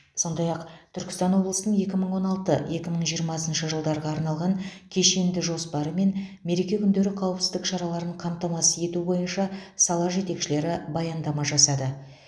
сондай ақ түркістан облысының екі мың он алты екі мың жиырмасыншы жылдарға арналған кешенді жоспары мен мереке күндері қауіпсіздік шараларын қамтамасыз ету бойынша сала жетекшілері баяндама жасады